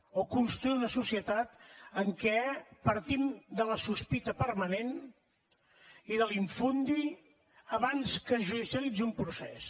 o construir una societat en què partim de la sospita permanent i de l’ infundi abans que es judicialitzi un procés